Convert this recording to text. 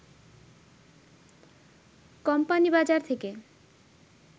company বাজার থেকে